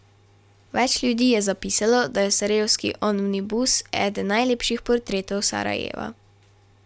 Več ljudi je zapisalo, da je Sarajevski omnibus eden najlepših portretov Sarajeva.